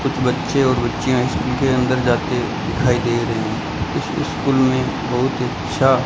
कुछ बच्चे और बच्चियां स्कूल के अंदर जाती दिखाई दे रही हैं उस स्कूल में बहुत अच्छा --